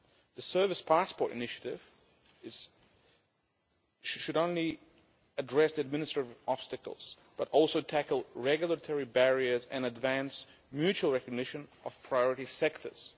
The service passport initiative should not only address administrative obstacles, but also tackle regulatory barriers and advance mutual recognition of priority sectors.